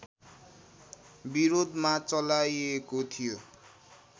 विरोधमा चलाइएको थियो